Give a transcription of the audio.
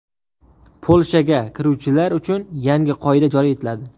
Polshaga kiruvchilar uchun yangi qoida joriy etiladi.